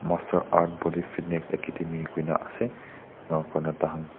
master art body fitnik akedemi kuina asey enia kurna tahan--